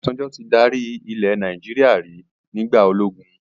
Obasanjo tí dárí ilẹ̀ Nàìjíríà rí nígbà ológun